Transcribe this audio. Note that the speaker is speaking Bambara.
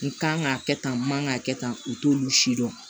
N kan ka kɛ tan n kan ka kɛ tan u t'olu si dɔn